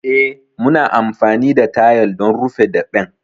Eh, muna amfani da tayal don rufe daɓen.